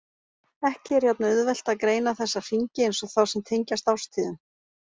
Ekki er jafn auðvelt að greina þessa hringi eins og þá sem tengjast árstíðum.